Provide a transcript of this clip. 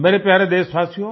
मेरे प्यारे देशवासियो